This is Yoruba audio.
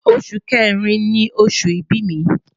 Oṣu Kẹrin ni oṣu ibi mi